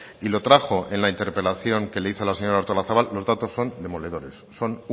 y lo trajo en la interpelación que le hizo al señora artolazabal los datos son demoledores son